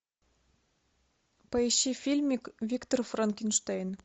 поищи фильмик виктор франкенштейн